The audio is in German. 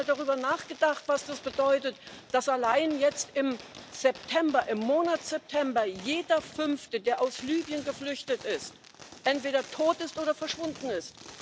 Haben Sie mal darüber nachgedacht, was das bedeutet, dass allein im Monat September jeder fünfte der aus Libyen Geflüchteten entweder tot oder verschwunden ist?